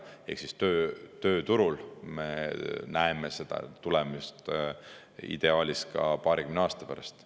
Ehk tööturul me näeme seda tulemust ideaalis paarikümne aasta pärast.